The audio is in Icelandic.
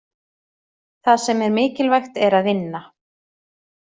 Það sem er mikilvægt er að vinna.